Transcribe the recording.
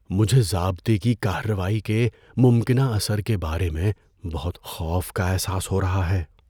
مجھے ضابطے کی کارروائی کے ممکنہ اثر کے بارے میں بہت خوف کا احساس ہو رہا ہے۔